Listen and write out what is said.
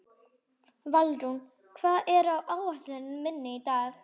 Valrún, hvað er á áætluninni minni í dag?